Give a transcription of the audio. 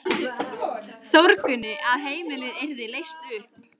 Þórgunni að heimilið yrði leyst upp.